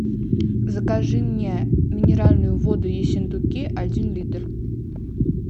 закажи мне минеральную воду ессентуки один литр